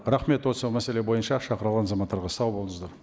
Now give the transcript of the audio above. рахмет осы мәселе бойынша шақырылған азаматтарға сау болыңыздар